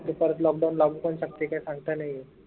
परत lockdown लागू पन शकते काही सांगता नाई येत